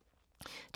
DR K